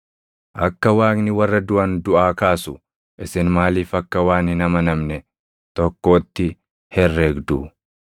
Akka Waaqni warra duʼan duʼaa kaasu isin maaliif akka waan hin amanamne tokkootti herregdu?